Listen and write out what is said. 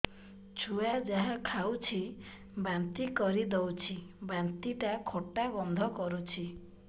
ଛୁଆ ଯାହା ଖାଉଛି ବାନ୍ତି କରିଦଉଛି ବାନ୍ତି ଟା ଖଟା ଗନ୍ଧ କରୁଛି